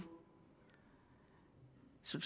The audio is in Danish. så